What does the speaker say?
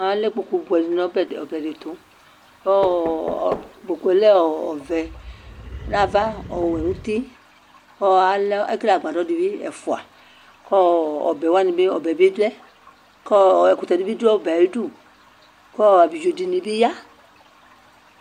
Alɛ ikpoku buɛ di nʋ ɔbɛ'tukʋ ɔɔ kpoku yɛ lɛ ɔvɛ nʋ ava ɔwɛ nʋ utikʋ ɔɔ alɛ, ekele agbadɔ dibi ɛfuakʋ ɔɔ ɔbɛ wani bi, ɔbɛ yɛ bi lɛkʋ ɔɔɔ ɛkutɛ dibi dʋ ɔbɛ yɛ ayiʋ'dukʋ ɔɔ Abiɖzo dini bi ya